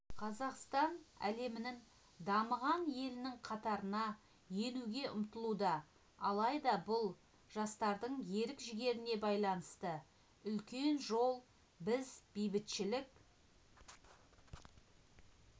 қазақстан әлемнің дамыған елінің қатарына енуге ұмтылуда алайда бұл жастардың ерік-жігеріне байланысты үлкен жол біз бейбітшілік